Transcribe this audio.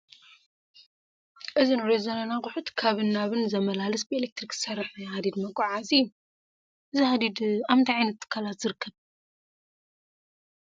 እዚ ንሪኦ ዘለና ኣቑሑት ካብን ናብን ዘመላልስ ብኤለክትሪክ ዝሰርሕ ናይ ሃዲድ መጓዓዓዚ እዩ፡፡ እዚ ሃዲድ ኣብ ምንታይ ዓይነት ትካላት ዝርከብ?